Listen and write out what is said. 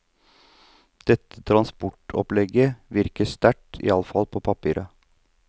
Dette transportopplegget virker sterkt, iallfall på papiret.